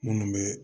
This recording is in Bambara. Minnu bɛ